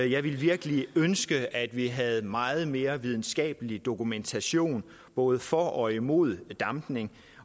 jeg ville virkelig ønske at vi havde meget mere videnskabelig dokumentation både for og imod dampning